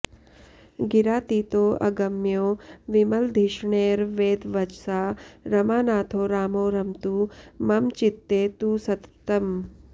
गिरातीतोऽगम्यो विमलधिषणैर्वेदवचसा रमानाथो रामो रमतु मम चित्ते तु सततम्